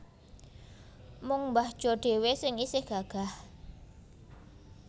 Mung mbah Jo dhewe sing isih gagah